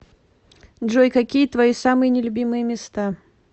джой какие твои самые не любимые места